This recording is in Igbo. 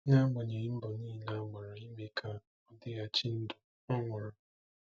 N’agbanyeghị mbọ niile a gbara ime ka ọ dịghachi ndụ, ọ nwụrụ.